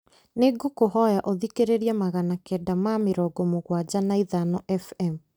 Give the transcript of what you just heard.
nĩ ngũkũhoya ũthikĩrĩrie magana kenda ma mĩrongo mũgwanja na ithano f.m.